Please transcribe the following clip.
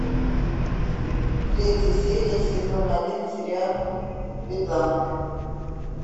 третья серия сезона один сериал бедлам